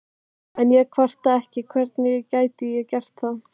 En ég kvarta ekki, hvernig gæti ég gert það?